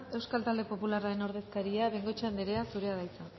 euskal talde popularraren ordezkaria bengoechea anderea zurea da hitza